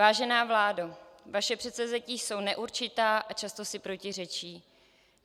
Vážená vládo, vaše předsevzetí jsou neurčitá a často si protiřečí.